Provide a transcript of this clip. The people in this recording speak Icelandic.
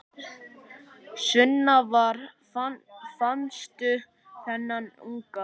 Sunna: Hvar fannstu þennan unga?